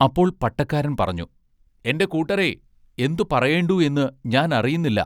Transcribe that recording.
അപ്പോൾ പട്ടക്കാരൻ പറഞ്ഞു:-എന്റെ കൂട്ടരെ എന്തു പറയേണ്ടു എന്നു ഞാൻ അറിയുന്നില്ല.